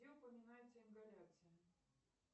где упоминается ингаляция